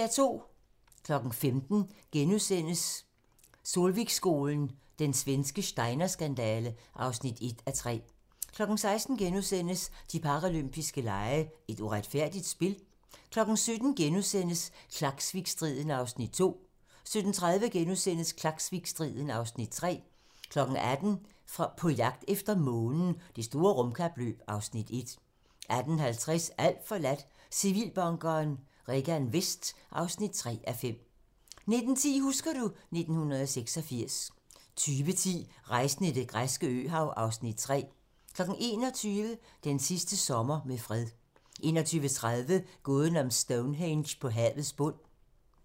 15:00: Solvikskolen - Den svenske Steiner-skandale (1:3)* 16:00: De paralympiske lege: Et uretfærdigt spil? * 17:00: Klaksvikstriden (Afs. 2)* 17:30: Klaksvikstriden (Afs. 3)* 18:00: På jagt efter månen - Det store rumkapløb (Afs. 1) 18:50: Alt forladt - Civilbunkeren Regan Vest (3:5) 19:10: Husker du ... 1986 20:10: Rejsen i det græske øhav (Afs. 3) 21:00: Den sidste sommer med fred 21:30: Gåden om Stonehenge på havets bund